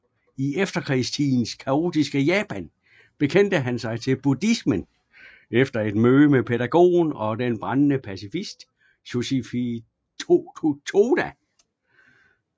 I efterkrigstidens kaotiske Japan bekendte han sig til buddhismen efter et møde med pædagogen og den brændende pacifist Josei Toda